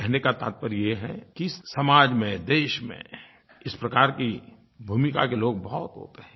कहने का तात्पर्य ये है कि समाज में देश में इस प्रकार की भूमिका के लोग बहुत होते हैं